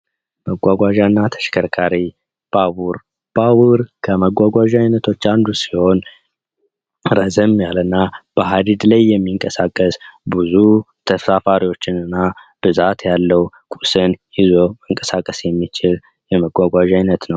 መጓጓዣና ተሽከርካሪ፤ ባቡር ፦ባቡር ከመጓጓዣ አይነቶች አንዱ ሲሆን ረዘም ያለና በሃድድ ላይ የሚንቀሳቀስ ብዙ ተሳፋሪዎችንና ብዛት ያለው ቁስን ይዞ መንቀሳቀስ የሚችል የመጓጓዣ አይነት ነው።